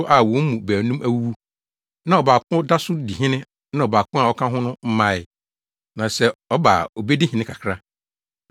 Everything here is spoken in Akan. a wɔn mu baanum awuwu, na ɔbaako da so di hene na ɔbaako a ɔka ho no mmae. Na sɛ ɔba a obedi hene kakra.